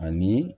Ani